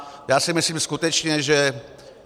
Já si myslím skutečně, že...